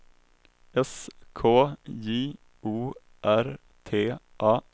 S K J O R T A